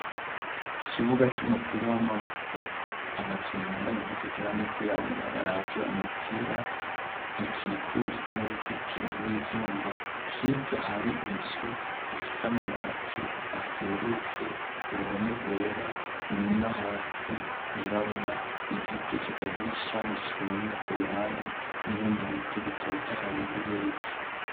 Kibuga c'umupira w'amaboko abakinyi bambaye impunzu zera n'izirabura baravye umupira ikikujwe n'ubuzitiro rw'ivyuma hiryo hari inzu ifise amabati aserutse uruhome rwera no hasi rwirabura .Igiti kitagira ishami cumye ku ruhande n'ibindi biti bitotaye birepfo.